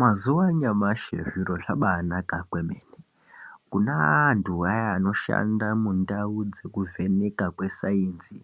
Mazuva anyamashi zviro zvabai naka kwemene kune antu vaya vano shanda mundau dzeku vheneka kwe sainzi